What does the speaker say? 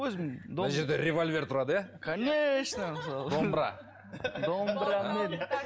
өзім мына жерде револьвер тұрады иә конечно мысалы домбыра